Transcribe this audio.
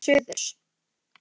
Hann hélt til suðurs.